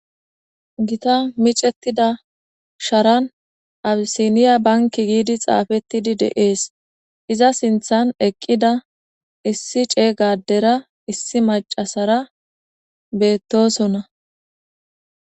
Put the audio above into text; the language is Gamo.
Ita micetida Sharan Abisnya bank getetid xafet utidays de'es . Iza sinthan eqida issi cega adera issi macasara betosona .